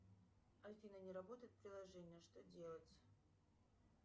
афина не работает приложение что делать